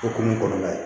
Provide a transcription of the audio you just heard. O kun ye kɔlɔlɔ ye